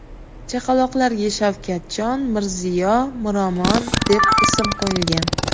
Chaqaloqlarga Shavkatjon, Mirziyo, Miromon deb ism qo‘yilgan.